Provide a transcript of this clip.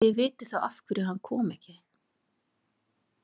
Þið vitið þá af hverju hann kom ekki.